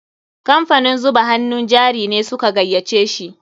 Kamfanin zuba hannun jari ne su ka gayyace shi.